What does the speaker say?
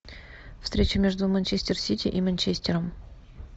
встреча между манчестер сити и манчестером